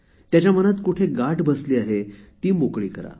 त्याच्या मनात कुठे गाठ बसली आहे ती मोकळी करा